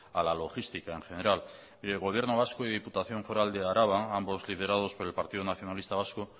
a la logística en general y el gobierno vasco y la diputación foral de araba ambos liderados por el partido nacionalista vasco